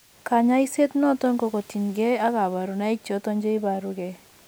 Kanyaisiet noton ko tien kee kabarunaik choton cheibaru gee